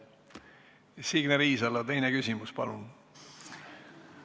Signe Riisalo, teine küsimus, palun!